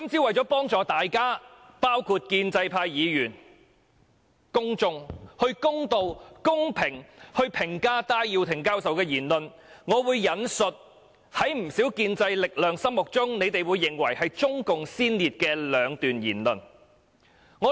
為了幫助大家公道和公平地評價戴耀廷教授的言論，我會引述在不少建制力量的心目中認為是中共先列的兩段言論。